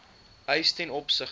eis ten opsigte